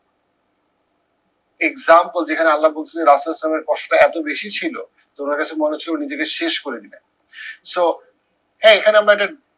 example যেখানে আল্লা বলছে ইসলামের কষ্ট এত বেশি ছিল নিজেকে শেষ করে দিলো। so হ্যাঁ এখানে আমরা একটা